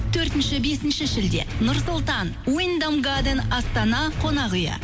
төртінші бесінші шілде нұр сұлтан астана қонақ үйі